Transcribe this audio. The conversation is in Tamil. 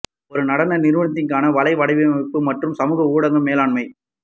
ஒரு நடன நிறுவனத்திற்கான வலை வடிவமைப்பு மற்றும் சமூக ஊடக மேலாண்மை